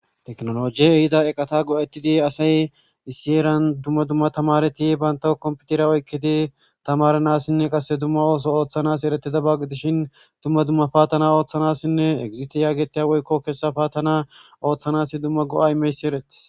Teknolojiye ehida eqata go7etidi asay issi eran dumma dumma tamareti baynta kompitira oykketi tamaranassinne qasse dumma ooso ooththanas eretida baggi dishin dumma dumma paatana ooththanassinne egizisti yaagetiya woykko keessa paatana ooththanasi dumma go7aymeysi eretis